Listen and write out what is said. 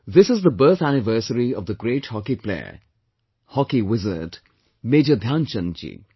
This is the birth anniversary of the great hockey player, hockey wizard, Major Dhyan Chand ji